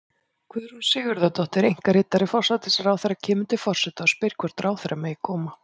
Guðrún Sigurðardóttir, einkaritari forsætisráðherra, kemur til forseta og spyr hvort ráðherra megi koma.